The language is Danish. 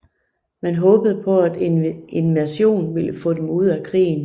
Man håbede på at en invasion ville få dem ud af krigen